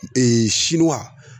siwa